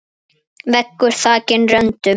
Veggur þakinn röndum.